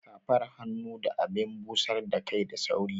Safar hannu da abin busar da kai da sauri